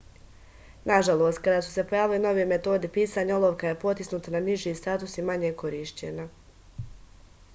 nažalost kada su se pojavili novi metodi pisanja olovka je potisnuta na niži status i manje korišćena